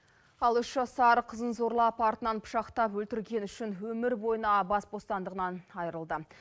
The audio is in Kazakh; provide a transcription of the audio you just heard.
ал үш жасар қызын зорлап артынан пышақтап өлтіргені үшін өмір бойына бас бостандығынан айырылды